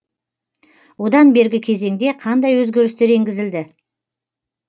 одан бергі кезеңде қандай өзгерістер енгізілді